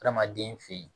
Adamaden fen yen